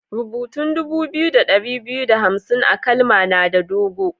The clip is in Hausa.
Rubutan dubu biyu da dari biyu da hamsin a'kalma na da dogo.